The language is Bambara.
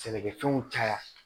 Sɛnɛkɛfɛnw caya